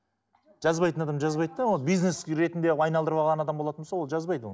жазбайтын адам жазбайды да оны бизнес ретінде қып айналдырып алған адам болатын болса ол жазбайды ол